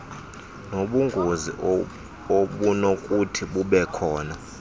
nobungozi obunokuthi bubekhona